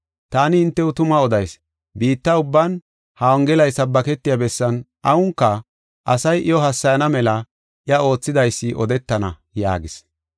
Taani hintew tuma odayis; biitta ubban ha Wongelay sabbaketiya bessan awunka, asay iyo hassayana mela iya oothidaysi odetana” yaagis.